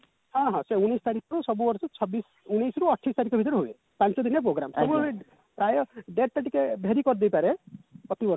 ହଁ ହଁ ସେଇ ଉଣେଇଶ ତାରିଖରୁ ସବୁ ବର୍ଷ ଛବିଶ ଉଣେଇଶ ରୁ ଅଠେଇଶ ତାରିଖ ଭିତରେ ହୁଏ ପାଞ୍ଚ ଦିନର program ସବୁବେଳେ ପ୍ରାୟ date ଟା ଟିକେ vary କରିଦେଇ ପାରେ ପ୍ରତିବର୍ଷ